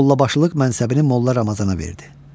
Mollabaşılıq mənsəbini Molla Ramazana verdi.